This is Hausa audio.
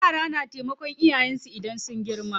Yara na taimakan iyayen su idan sun girma.